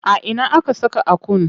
A ina aka saka Akun?